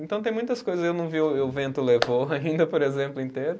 Então tem muitas coisas, eu não vi eu, e o vento levou ainda, por exemplo, inteiro.